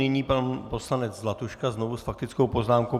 Nyní pan poslanec Zlatuška znovu s faktickou poznámkou.